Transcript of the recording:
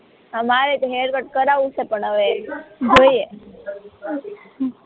હા મારે તો હેર કટ કરાવવો છે પણ હવે જોઈએ